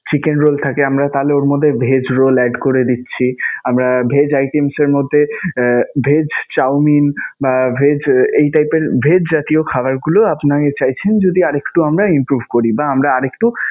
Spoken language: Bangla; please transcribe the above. Chicken roll থাকে আমরা তাহলে ওর মধ্যে vegg roll add করে দিচ্ছি. আমরা vegg items এর মধ্যে আহ vegg chowmein বা vegg এই type এর vegg জাতীয় খাবারগুলো আপন~ চাইছেন যদি আর একটু আমরা improve করি বা আর একটু